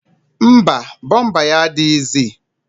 Mba, bọmba ya adịghịzi